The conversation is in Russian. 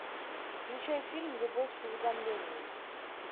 включай фильм любовь с уведомлением